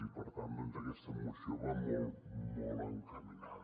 i per tant aquesta moció hi va molt molt encaminada